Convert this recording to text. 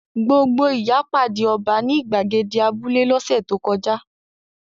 Gbogbo ìyá pàdé ọba ní ìgbàgede abúlé lọ́sẹ̀ tó kọjá.